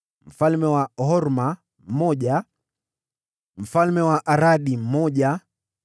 mfalme wa Horma mmoja mfalme wa Aradi mmoja